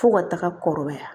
Fo ka taga kɔrɔbaya